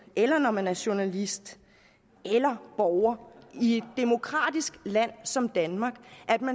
eller man er journalist eller borger i et demokratisk land som danmark